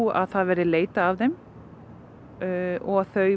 að það verði leitað að þeim og þau